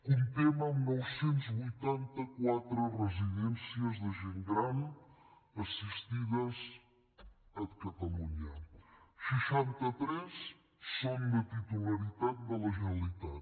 comptem amb nou cents i vuitanta quatre residències de gent gran assistides a catalunya seixanta tres són de titularitat de la generalitat